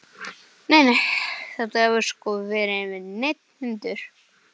Nei, nei, þetta hefur sko ekki verið neinn hundur.